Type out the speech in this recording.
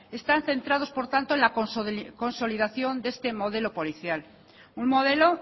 están centrados por tanto en la consolidación de este modelo policial un modelo